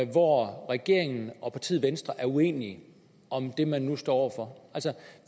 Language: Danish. hvor regeringen og partiet venstre er uenige om det man nu står over for